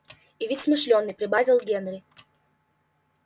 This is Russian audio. и ведь смышлёный прибавил генри